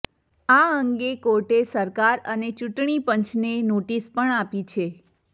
આ અંગે કોર્ટે સરકાર અને ચૂંટણી પંચને નોટિસ પણ આપી છે